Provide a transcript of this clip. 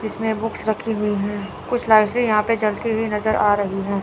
जिसमें बुक्स रखी हुई हैं कुछ लाइट्स भी यहां पे जलती हुई नजर आ रही हैं।